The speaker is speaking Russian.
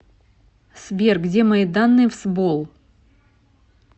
сбер где мои данные в сбол